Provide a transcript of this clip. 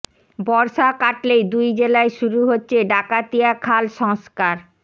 বর্ষা কাটলেই দুই জেলায় শুরু হচ্ছে ডাকাতিয়া খাল সংস্কার